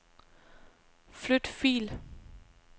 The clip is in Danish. Flyt fil.